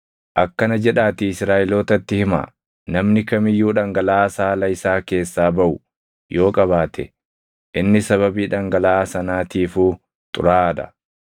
“Akkana jedhaatii Israaʼelootatti himaa; ‘Namni kam iyyuu dhangalaʼaa saala isaa keessaa baʼu yoo qabaate, inni sababii dhangalaʼaa sanaatiifuu xuraaʼaa dha.